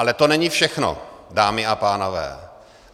Ale to není všechno, dámy a pánové.